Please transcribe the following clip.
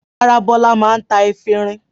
Rárá, Bọ́lá máa ń ta efirin.